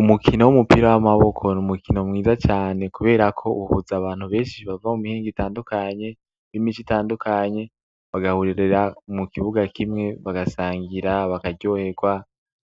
Umukino w'umupira w'amaboko n'umukino mwiza cane kuberako uhuza abantu beshi bava mumihingo itandukanye, b'imice itandukanye bagahurira mukibuga kimwe bagasangira, bakaryoherwa